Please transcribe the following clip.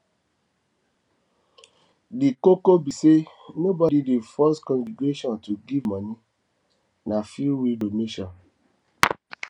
di koko be sey nobody dey force congregation to give moni na freewill donation